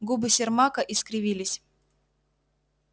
губы сермака искривились